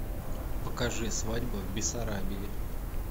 покажи свадьба в бессарабии